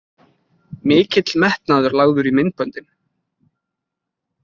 Mikill metnaður lagður í myndböndin